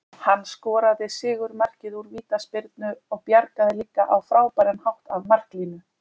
Hann skoraði sigurmarkið úr vítaspyrnu og bjargaði líka á frábæran hátt af marklínu.